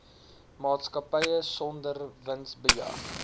maatskappy sonder winsbejag